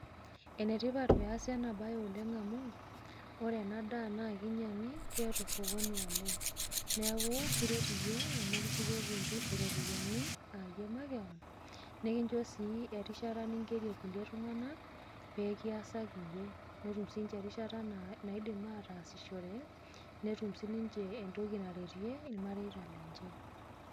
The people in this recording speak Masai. Enetipat pee eesi enabaye oleng' amu ore ena daa naa kinyiang'i keeta osokoni oleng' neeku kiret iyie amu kishukoki iropiyiani aa iyie makewon nekinchoo sii erishata ningerie kulie tung'anak pee kiasaki iyie netum siinche erishata naidim ataasishore netum siniche entoki naretie irmareita lenye.